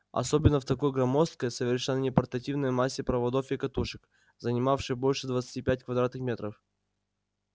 особенно в такой громоздкой совершенно непортативной массе проводов и катушек занимавшей больше двадцати пяти квадратных метров